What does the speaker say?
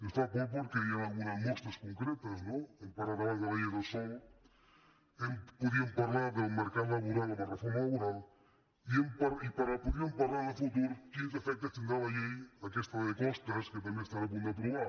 ens fan por perquè n’hi ha algunes mostres concretes no hem parlat abans de la llei del sòl podríem parlar del mercat laboral amb la reforma laboral i podríem parlar en el futur de quins efectes tindrà la llei aquesta de costes que tam·bé estan a punt d’aprovar